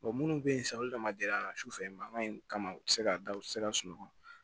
minnu bɛ yen sisan olu dama gɛlɛya man su fɛ mankan in kama u tɛ se ka da u tɛ se ka sunɔgɔ